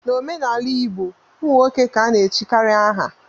N'omenala igbo ụmụ nwoke ka ana-echikarị aha